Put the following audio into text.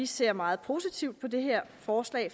ser meget positivt på det her forslag